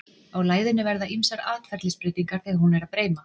Á læðunni verða ýmsar atferlisbreytingar þegar hún er breima.